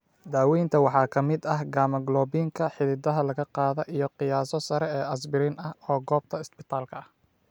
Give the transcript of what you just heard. Daawaynta waxaa ka mid ah gamma globulin-ka xididada laga qaada iyo qiyaaso sare oo asbiriin ah oo goobta isbitaalka ah.